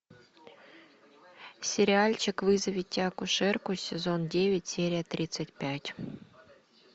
сериальчик вызовите акушерку сезон девять серия тридцать пять